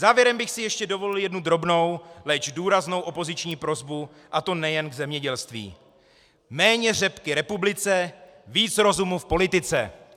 Závěrem bych si ještě dovolil jednu drobnou, leč důraznou opoziční prosbu, a to nejen k zemědělství: Méně řepky republice, víc rozumu v politice.